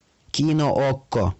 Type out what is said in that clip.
кино окко